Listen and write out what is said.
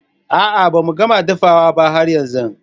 A'a ba mu gama dafawa ba har yanzun.